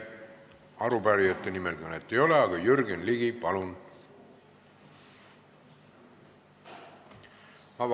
Arupärijate nimel kõnet ei ole, aga Jürgen Ligi, palun!